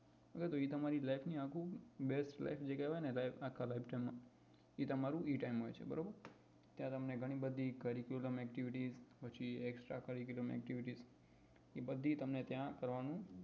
તો એ તમારી life ની આખું best life જે કેવાય ને life આખા એ બધી તમને ત્યાં કરવા નું